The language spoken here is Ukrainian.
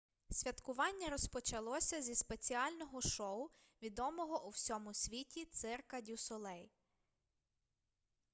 святкування розпочалося зі спеціального шоу відомого у всьому світі цирка дю солей